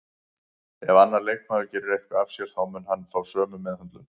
Ef annar leikmaður gerir eitthvað af sér þá mun hann fá sömu meðhöndlun